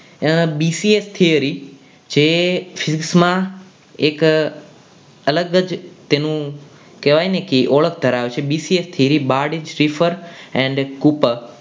આ B C A theory જે shift માં એક અલગ જ તેનું કહેવાય ને કે ઓળખ ધરાવે છે bca series બાદ એન્ડ કૂપર